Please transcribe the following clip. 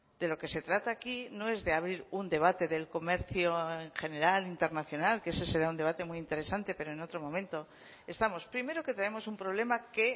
de lo que se trata aquí no es de abrir un debate del comercio en general internacional que ese será un debate muy interesante pero en otro momento estamos primero que tenemos un problema que